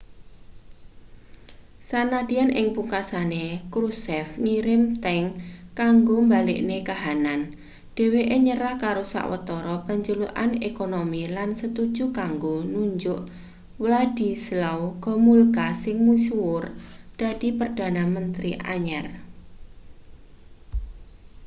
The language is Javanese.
sanadyan ing pungkasane krushchev ngirim tank kanggo mbalekne kahanan dheweke nyerah karo sawetara panjalukan ekonomi lan setuju kanggo nunjuk wladyslaw gomulka sing misuwur dadi perdana menteri anyar